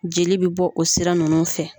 Jeli bɛ bɔ o sira ninnu fɛ.